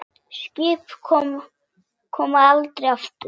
Skip koma aldrei aftur.